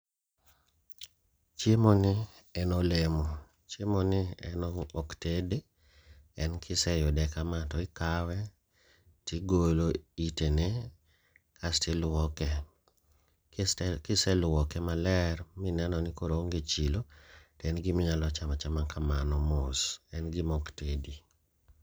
Chiemo ni en olemo, chiemo ni en ok tedi. En kiseyude kama to ikawe tigolo itene kasti luoke, kiseluoke maler mineno ni koro oonge chilo, to en giminyalo chama chama kamano mos, en gima ok tedi.